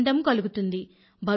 ఆనందం కలుగుతుంది